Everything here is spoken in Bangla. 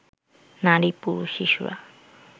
নারী, পুরুষ, শিশুরা